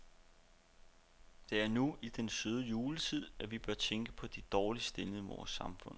Det er nu, i denne søde juletid, at vi bør tænke på de dårligst stillede i vort samfund.